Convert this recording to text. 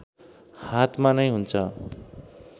हातमा नै हुन्छ